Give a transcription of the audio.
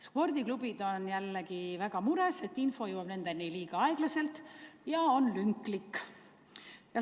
Spordiklubid on väga mures, et info jõuab nendeni liiga aeglaselt ja on lünklik.